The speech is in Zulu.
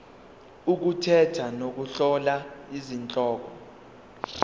ukukhetha nokuhlola izihloko